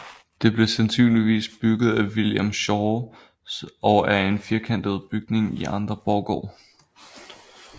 Det blev sandsynligvis bygget af William Schaw og er en firkantet bygning i indre borggård